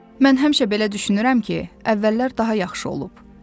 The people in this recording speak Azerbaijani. Mən həmişə belə düşünürəm ki, əvvəllər daha yaxşı olub.